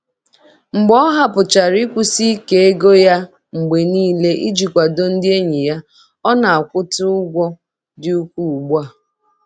Mgbe ọ hapụchara nkwụsi ike ego ya mgbe niile iji kwado ndị enyi ya, ọ na-akwa ụta ụgwọ dị ukwuu ugbu a.